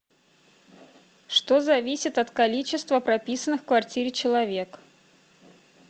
что зависит от количества прописанных в квартире человек